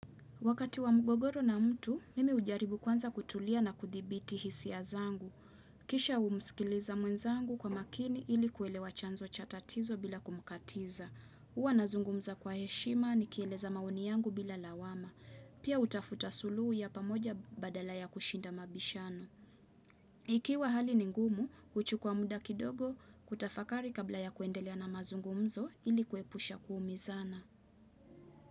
Wakati wa mgogoro na mtu, mimi hujaribu kwanza kutulia na kuthibiti hisia zangu. Kisha umsikiliza mwenzangu kwa makini ili kuelewa chanzo cha tatizo bila kumkatiza. Huwa nazungumza kwa heshima ni kieleza maoni yangu bila lawama. Pia hutafuta suluhu ya pamoja badala ya kushinda mabishano. Ikiwa hali ni ngumu, huchukua muda kidogo kutafakari kabla ya kuendelea na mazungumzo ili kuepusha kuumizana.